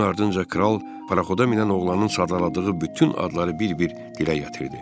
Bunun ardınca kral paxoda minən oğlanın sadaladığı bütün adları bir-bir dilə gətirdi.